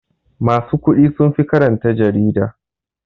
Masu kuɗi sunfi karanta jarida.